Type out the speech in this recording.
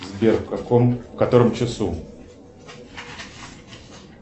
сбер в каком в котором часу